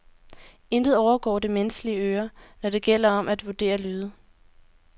Intet overgår det menneskelige øre, når det gælder om at vurdere lyde.